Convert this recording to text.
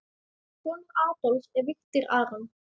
Sonur Adolfs er Viktor Aron.